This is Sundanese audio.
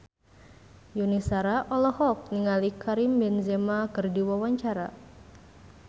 Yuni Shara olohok ningali Karim Benzema keur diwawancara